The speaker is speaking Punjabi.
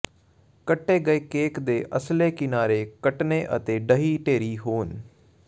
ਕੱਟੇ ਗਏ ਕੇਕ ਦੇ ਅਸਲੇ ਕਿਨਾਰੇ ਕੱਟਣੇ ਅਤੇ ਢਹਿ ਢੇਰੀ ਹੋਣੇ